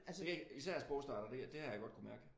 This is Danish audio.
Især sprogstartere det har jeg godt kunnet mærke